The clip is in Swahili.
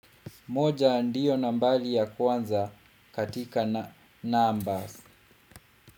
Moja ndiyo nambari ya kwanza katika numbers.